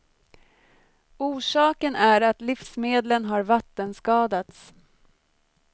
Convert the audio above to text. Orsaken är att livsmedlen har vattenskadats.